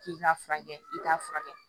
K'i k'a furakɛ i k'a furakɛ